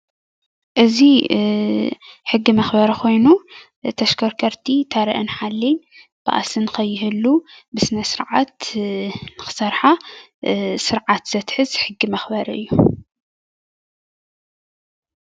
እዚ ሕጊ መክበሪ ኮይኑ ንተሽከርከርቲ ታረአን ሓልየን ባእሲ ንከይህሉ ብስነ-ስርዓት ንክሰርሓ ስርዓት ዘትሕዝ ሕጊ መክበሪ እዩ፡፡